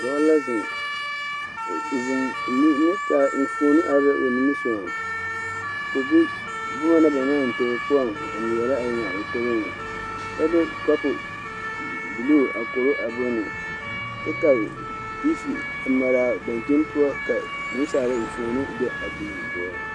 Dɔɔ la zeŋ o zeŋ le nensaale enfuoni are la o nimisɔgɔŋ ka o de boma na ba naŋ maŋ eŋ tobo poɔŋ a ŋmeɛrɛ a eŋ o toboŋ kyɛ de kopo buluu a koro a bone kyɛ ka tiivi a mare a dakyini poɔ ka nansaala enfuoni be a tiivi poɔ.